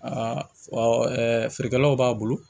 feerekɛlaw b'a bolo